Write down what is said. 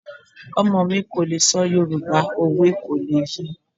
Ọmọ mi kò lè sọ Yoruba, òwe kò lè ye.